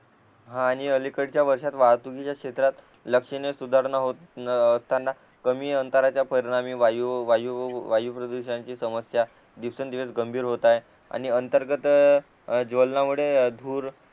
आणि अलीकडच्या वर्षात वाहतुकीच्या क्षेत्रात लक्षिने सुधारणा होत असताना कमी अंतराच्या परिणामी वायू वायू प्रदूषणाची समस्या दिवसां दीवस गंभीर होत आहे आणि अंतर्गत ज्वलणामुळे धूर